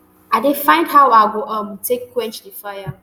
i dey find how i go um take quench di fire